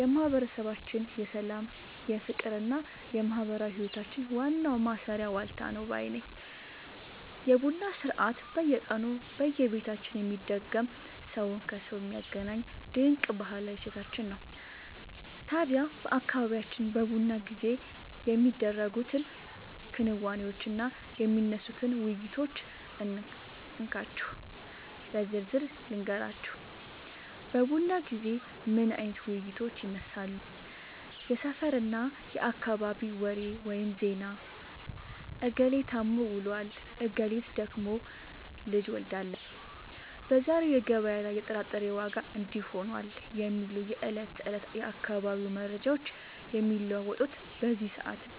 የማህበረሰባችን የሰላም፣ የፍቅርና የማህበራዊ ህይወታችን ዋናው ማሰሪያ ዋልታ ነው ባይ ነኝ! የቡና ሥርዓት በየቀኑ በየቤታችን የሚደገም፣ ሰውን ከሰው የሚያገናኝ ድንቅ ባህላዊ እሴታችን ነው። ታዲያ በአካባቢያችን በቡና ጊዜ የሚደረጉትን ክንዋኔዎችና የሚነሱትን ውይይቶች እንካችሁ በዝርዝር ልንገራችሁ፦ በቡና ጊዜ ምን አይነት ውይይቶች ይነሳሉ? የሰፈርና የአካባቢ ወሬ (ዜና)፦ "እገሌ ታሞ ውሏል፣ እገሊት ደግሞ ልጅ ወልዳለች፣ በዛሬው ገበያ ላይ የጥራጥሬ ዋጋ እንዲህ ሆኗል" የሚሉ የዕለት ተዕለት የአካባቢው መረጃዎች የሚለዋወጡት በዚህ ሰዓት ነው።